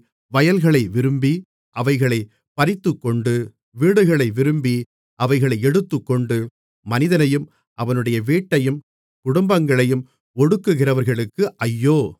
வயல்களை விரும்பி அவைகளைப் பறித்துக்கொண்டு வீடுகளை விரும்பி அவைகளை எடுத்துக்கொண்டு மனிதனையும் அவனுடைய வீட்டையும் குடும்பங்களையும் ஒடுக்குகிறவர்களுக்கு ஐயோ